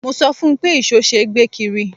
Mo sọ fún un pé ìṣó ṣe é gbé kiri.